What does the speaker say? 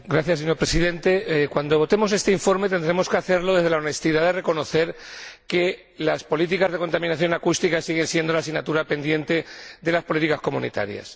Señor Presidente, cuando votemos este informe, tendremos que hacerlo desde la honestidad de reconocer que las políticas de contaminación acústica siguen siendo la asignatura pendiente de las políticas de la Unión Europea.